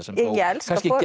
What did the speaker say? kannski þó